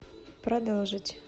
продолжить